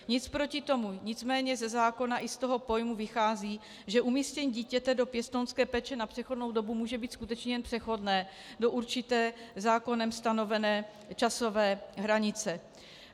Nic proti tomu, nicméně ze zákona i z toho pojmu vychází, že umístění dítěte do pěstounské péče na přechodnou dobu může být skutečně jen přechodné do určité zákonem stanovené časové hranice.